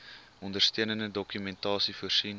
ondersteunende dokumentasie voorsien